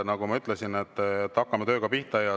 Nagu ma ütlesin, hakkame tööga pihta.